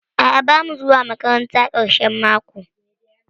A'a bamu zuwa makaranta ƙarshen mako.